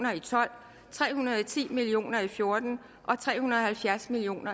og tolv tre hundrede og ti million og fjorten og tre hundrede og halvfjerds million